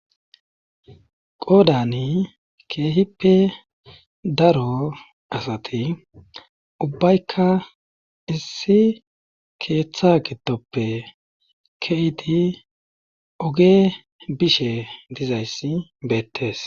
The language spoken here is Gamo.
Qoodani keehippe daro asati ubbaykka issi keeththa gidoppe kedi oge bishe dizayssi beettees.